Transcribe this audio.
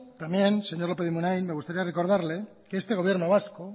también señor lópez de munain me gustaría recordarle que este gobierno vasco